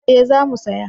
Eh za mu saya